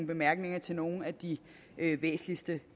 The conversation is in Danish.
bemærkninger til nogle af de væsentligste